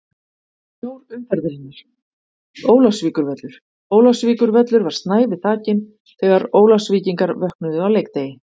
Snjór umferðarinnar: Ólafsvíkurvöllur Ólafsvíkurvöllur var snævi þakinn þegar Ólafsvíkingar vöknuðu á leikdegi.